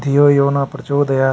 धियो यो नः प्रचोदयात्।